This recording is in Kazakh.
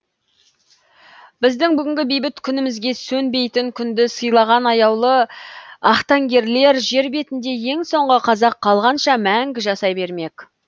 біздің бүгінгі бейбіт күнімізге сөнбейтін күнді сыйлаған аяулы ақтаңгерлер жер бетінде ең соңғы қазақ қалғанша мәңгі жасай бермек